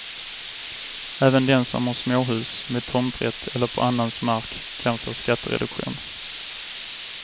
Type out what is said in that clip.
Även den som har småhus med tomträtt eller på annans mark kan få skattereduktion.